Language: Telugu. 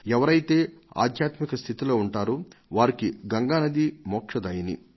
ఎవరైతే ఆధ్యాత్మిక స్థితిలో ఉంటారో వారికి గంగా నది మోక్షదాయిని